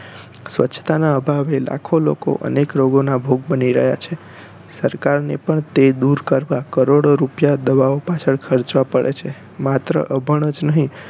સ્વચ્છતા નાં અભાવે લખો લોકો અનેક રોગો નાં ભોગ બની રહ્યા છે સરકાર ને પણ તે દૂર કરવા કરોડો રૂપિયા દવાઓ પાછળ ખરચવા પડે છે માત્ર અભણ જ નહિ